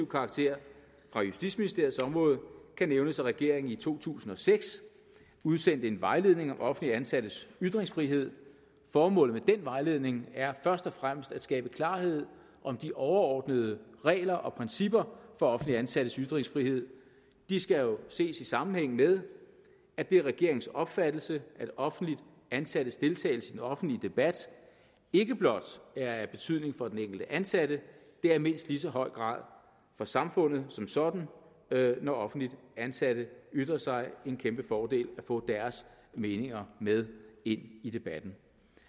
karakter fra justitsministeriets område kan nævnes at regeringen i to tusind og seks udsendte en vejledning om offentligt ansattes ytringsfrihed formålet med den vejledning er først og fremmest at skabe klarhed om de overordnede regler og principper for offentligt ansattes ytringsfrihed de skal jo ses i sammenhæng med at det er regeringens opfattelse at offentligt ansattes deltagelse i den offentlige debat ikke blot er af betydning for den enkelte ansatte det er i mindst lige så høj grad for samfundet som sådan når offentligt ansatte ytrer sig en kæmpe fordel at få deres meninger med ind i debatten